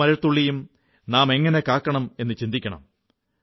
ഓരോ മഴത്തുള്ളിയും നാമെങ്ങനെ സംരക്ഷിക്കണം എന്നു ചിന്തിക്കണം